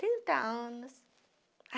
Trinta anos.